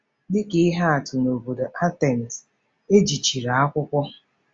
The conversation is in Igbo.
Dị ka ihe atụ, n'obodo Atens, e jichiri akwụkwọ.